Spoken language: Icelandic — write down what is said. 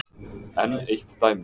Enn eitt dæmið.